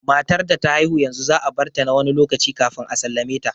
Matar da ta haihu yanzu za a barta na wani lokaci kafin a sallame ta